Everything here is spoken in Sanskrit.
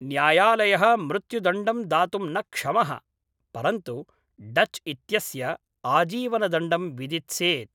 न्यायालयः मृत्युदण्डं दातुं न क्षमः, परन्तु डच् इत्यस्य आजीवनदण्डं विदित्सेत्।